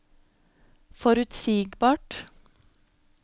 forutsigbart